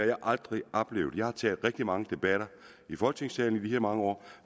jeg aldrig oplevet jeg har taget rigtig mange debatter i folketingssalen i de her mange år